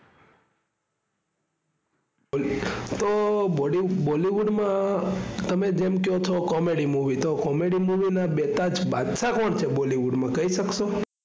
તો bolly bollywood માં તમે જેમ કયો છો comedy movie તો comedy movie નાં બેતાજ બાદશાહ કોણ છે bollywood માં કહી શકશો?